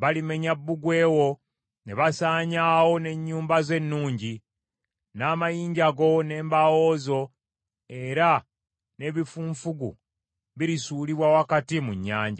balimenya bbugwe wo ne basaanyaawo n’ennyumba zo ennungi, n’amayinja go n’embaawo zo era n’ebifunfugu birisuulibwa wakati mu nnyanja.